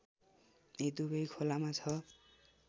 यी दुबै खोलामा ६